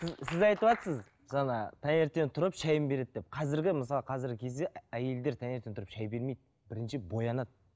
сіз сіз айтыватсыз жаңа таңертең тұрып шайын береді деп қазіргі мысалы қазіргі кезде әйелдер таңертең тұрып шай бермейді бірінші боянады